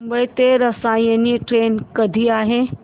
मुंबई ते रसायनी ट्रेन कधी आहे